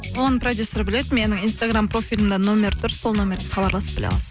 оны продюсер біледі менің инстаграм профилімде номері тұр сол номерге хабарласып біле аласыз